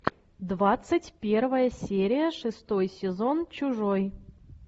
двадцать первая серия шестой сезон чужой